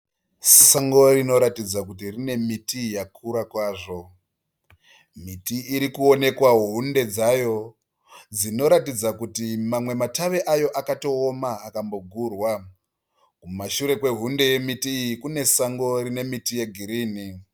Sango rinoratidza kuti rine miti yakura kwazvo. Miti irikuonekwa hunde dzayo dzinoratidza kuti mamwe matave ayo akatooma akambogurwa. Mushure kwehunde yemiti iyi kune sango rine miti yegirini.